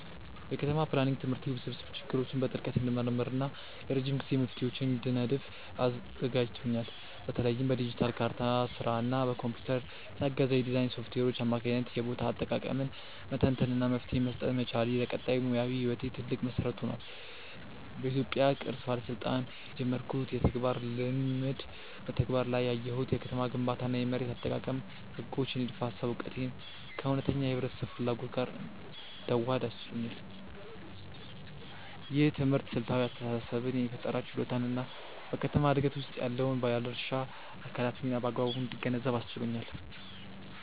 የከተማ ፕላኒንግ ትምህርቴ ውስብስብ ችግሮችን በጥልቀት እንድመረምር እና የረጅም ጊዜ መፍትሄዎችን እንድነድፍ አዘጋጅቶኛል። በተለይም በዲጂታል ካርታ ስራ እና በኮምፒውተር የታገዘ የዲዛይን ሶፍትዌሮች አማካኝነት የቦታ አጠቃቀምን መተንተን እና መፍትሄ መስጠት መቻሌ፣ ለቀጣይ ሙያዊ ህይወቴ ትልቅ መሰረት ሆኗል። በኢትዮጵያ ቅርስ ባለስልጣን በጀመርኩት የተግባር ልምምድ በተግባር ላይ ያየሁት የከተማ ግንባታ እና የመሬት አጠቃቀም ህጎች የንድፈ ሃሳብ እውቀቴን ከእውነተኛ የህብረተሰብ ፍላጎት ጋር እንዳዋህድ አስችሎኛል። ይህ ትምህርት ስልታዊ አስተሳሰብን የፈጠራ ችሎታን እና በከተማ ዕድገት ውስጥ ያለውን የባለድርሻ አካላት ሚና በአግባቡ እንድገነዘብ አስችሎኛል።